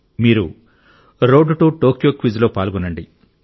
మీరు road to Tokyo quiz లో పాల్గొనండి